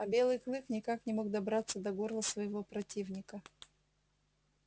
а белый клык никак не мог добраться до горла своего противника